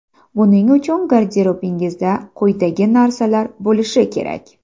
Buning uchun garderobingizda quyidagi narsalar bo‘lishi kerak.